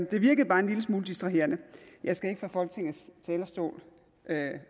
det virkede bare en lille smule distraherende jeg skal ikke fra folketingets talerstol